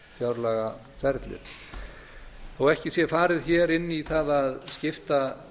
varða fjárlagaferlið þó ekki sé farið hér inn í það að skipta